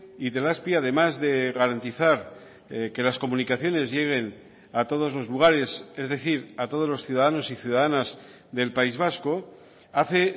itelazpi además de garantizar que las comunicaciones lleguen a todos los lugares es decir a todos los ciudadanos y ciudadanas del país vasco hace